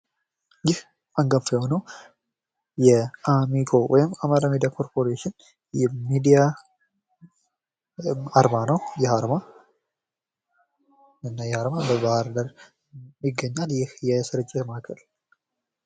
ይህ አንጋፋ የሆነው የአሚኮ ወይም አማራ ሚዲያ ኰርፖሬሽን አርማ ነው። ይህ አርማ በባህር ዳር ይገኛል። ይህ የስርጭት ማእከል።